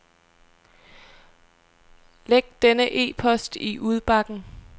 Læg denne e-post i udbakken.